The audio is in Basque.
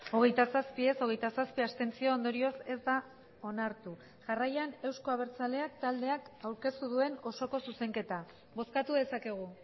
hogeita zazpi ez hogeita zazpi abstentzio ondorioz ez da onartu jarraian euzko abertzaleak taldeak aurkeztu duen osoko zuzenketa bozkatu dezakegu